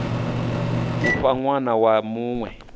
u fha ṅwana wa muṅwe